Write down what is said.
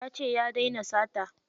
Yace ya daina sata.